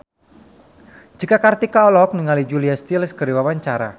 Cika Kartika olohok ningali Julia Stiles keur diwawancara